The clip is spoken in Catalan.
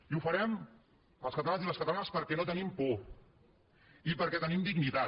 i ho farem els catalans i les catalanes perquè no tenim por i perquè tenim dignitat